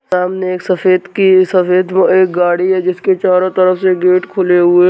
सामने एक सफ़ेद की सफ़ेद वो एक गाड़ी है जिसके चारो तरफ से गेट खुले हुए--